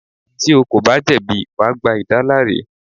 Tí o kò bá jẹ̀bi, wà gba ìdáláre.